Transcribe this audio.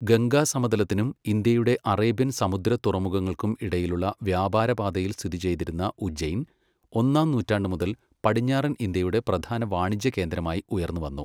ഗംഗാ സമതലത്തിനും ഇന്ത്യയുടെ അറേബ്യൻ സമുദ്ര തുറമുഖങ്ങൾക്കും ഇടയിലുള്ള വ്യാപാരപാതയിൽ സ്ഥിതി ചെയ്തിരുന്ന ഉജ്ജയിൻ, ഒന്നാം നൂറ്റാണ്ട് മുതൽ പടിഞ്ഞാറൻ ഇന്ത്യയുടെ പ്രധാന വാണിജ്യ കേന്ദ്രമായി ഉയർന്നുവന്നു.